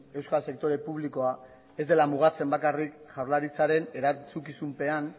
euskal sektore publikoa ez dela mugatzen bakarrik jaurlaritzaren erantzukizunpean